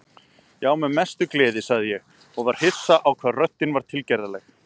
Já, með mestu gleði, sagði ég og var hissa á hvað röddin var tilgerðarleg.